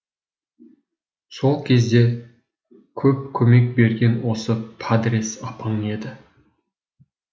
сол кезде көп көмек берген осы падрес апаң еді